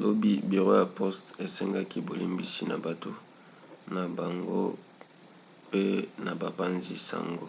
lobi biro ya poste esengaki bolimbisi na bato na bango pe na bapanzi-sango